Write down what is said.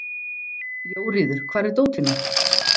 Jóríður, hvar er dótið mitt?